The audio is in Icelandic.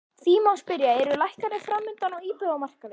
Því má spyrja, eru lækkanir framundan á íbúðamarkaði?